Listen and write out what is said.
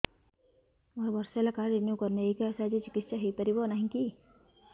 ମୋର ବର୍ଷେ ହେଲା କାର୍ଡ ରିନିଓ କରିନାହିଁ ଏହି କାର୍ଡ ସାହାଯ୍ୟରେ ଚିକିସୟା ହୈ ପାରିବନାହିଁ କି